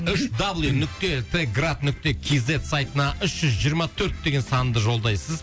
үш даблю нүкте т град нүкте кз сайтына үш жүз жиырма төрт деген санды жолдайсыз